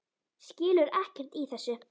Skilur ekkert í þessu.